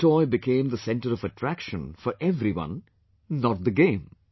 That toy became the centre of attraction for everyone, not the game